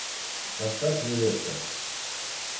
поставь нилетто